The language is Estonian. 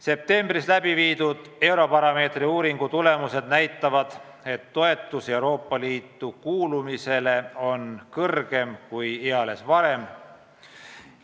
Septembris läbi viidud Eurobaromeetri uuringu tulemused näitavad, et toetus Euroopa Liitu kuulumisele on suurem kui eales varem.